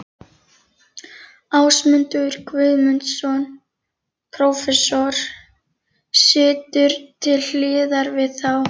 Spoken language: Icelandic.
Ásmundur Guðmundsson, prófessor, situr til hliðar við þá.